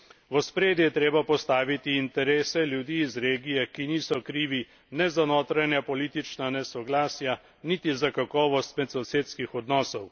V ospredje je treba postaviti interese ljudi iz regije, ki niso krivi ne za notranja politična nesoglasja niti za kakovost medsosedskih odnosov.